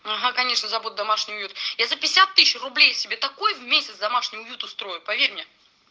ага конечно забуду домашний уют я за пятьдесят тысяч рублей себе такой в месяц домашний уют устрою поверь мне